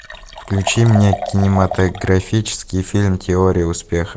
включи мне кинематографический фильм теория успеха